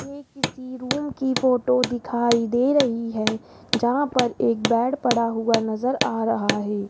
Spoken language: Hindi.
ये किसी रूम की फोटो दिखाई दे रही है जहां पर एक बेड पड़ा हुआ नजर आ रहा है।